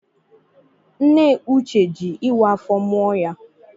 Nne Uche jị ịwa afọ mụọ ya.